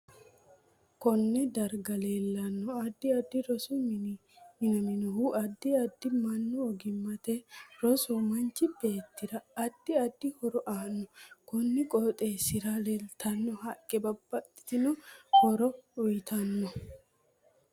Konee darga leelanno addi addi rosu mini minaminohu addi addi mannu ogimaniiti rosu manchu beetira addi addi horo aano konni qooxeesira leeltano haqqe babbaxitino horo uyiitano